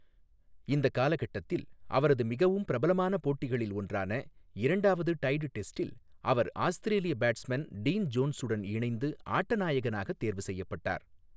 இந்தக் காலகட்டத்தில் அவரது மிகவும் பிரபலமான போட்டிகளில் ஒன்றான இரண்டாவது டைட் டெஸ்டில் அவர் ஆஸ்திரேலிய பேட்ஸ்மேன் டீன் ஜோன்ஸுடன் இணைந்து ஆட்ட நாயகனாகத் தேர்வு செய்யப்பட்டார்.